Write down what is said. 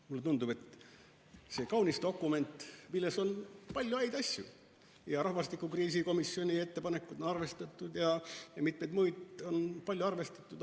Mulle tundub, et see on kaunis dokument, milles on palju häid asju, näiteks rahvastikukriisi probleemkomisjoni ettepanekuid on arvestatud ja mitmeid muidki asju on arvestatud.